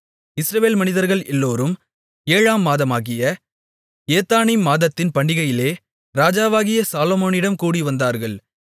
இஸ்ரவேல் மனிதர்கள் எல்லோரும் 7 ஆம் மாதமாகிய ஏத்தானீம் மாதத்தின் பண்டிகையிலே ராஜாவாகிய சாலொமோனிடம் கூடிவந்தார்கள்